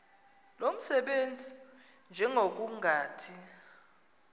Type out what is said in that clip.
lo msebenzi njengokungathi